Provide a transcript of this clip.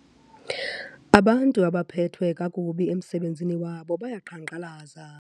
Abantu abaphethwe kakubi emsebenzini wabo bayaqhankqalaza.